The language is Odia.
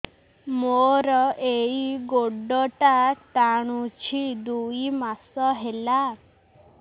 ମୋର ଏଇ ଗୋଡ଼ଟା ଟାଣୁଛି ଦୁଇ ମାସ ହେଲା